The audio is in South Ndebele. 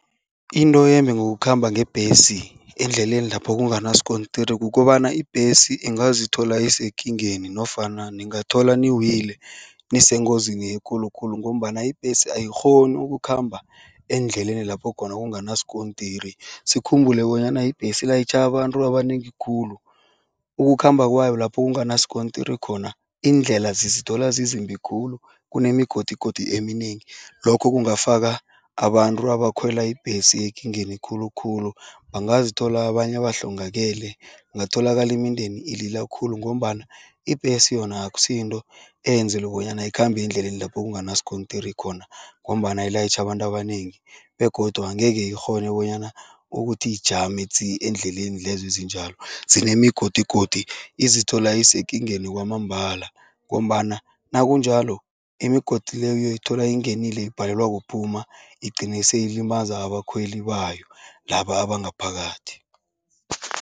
Into embi ngokukhamba ngebhesi endleleni lapho kunganaskontiri kukobana ibhesi ingazithola isekingeni nofana ningathola niwile, nisengozini ekulu khulu ngombana ibhesi ayikghoni ukukhamba endleleni lapho khona kungasikontiri. Sikhumbule bonyana ibhesi ilayitjha abantu abanengi khulu, ukukhamba kwayo lapho kunganasikontiri khona, iindlela zizithola zizimbi khulu, kunemigodigodi eminengi. Lokho kungafaka abantu abakhwela ibhesi ekingeni khulukhulu. Bangazithola abanye bahlongakele, kungatholakala imindeni ilila khulu ngombana ibhesi yona akusiyinto eyenzelwe bonyana ikhambe endleleni lapho kunganaskontiri khona ngombana ilayitjha abantu abanengi begodu angeke ikghone bonyana ukuthi ijame tsi endleleni lezo ezinjalo, zinemigodigodi. Izithola isekingeni kwamambala ngombana nakunjalo, imigodi leyo uyoyithola ingenile ibhalelwa kuphuma, igcine seyilimaza abakhweli bayo laba abangaphakathi.